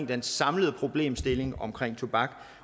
den samlede problemstilling omkring tobak